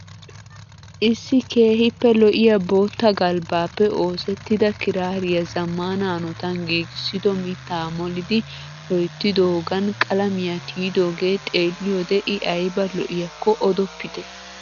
Issi keehiippe lo'iya bootta galbbaappe oosettida kiraariya zamana hanotan giigisido mittaa molidi loyttidoogan qalamiya tiyidoogee xeelliyode I ayba lo'iyakko odoppitte.